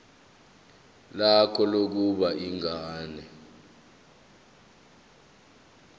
lakho lokubona ingane